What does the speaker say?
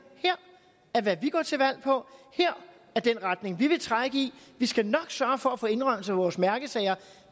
her er hvad vi går til valg på her er den retning vi vil trække i vi skal nok sørge for at få indrømmelser på vores mærkesager